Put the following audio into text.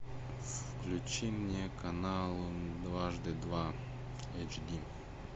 включи мне канал дважды два эйчди